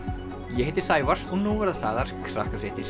ég heiti Sævar og nú verða sagðar